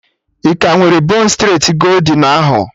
Ị ka nwere bon streti goldin ahụ?